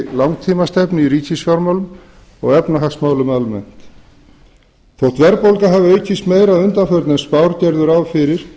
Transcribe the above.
langtímastefnu í ríkisfjármálum og efnahagsmálum almennt þótt verðbólga hafi aukist meira að undanförnu en spár gerðu ráð fyrir